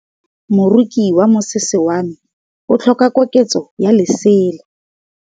Moroki wa mosese wa me o tlhoka koketsô ya lesela.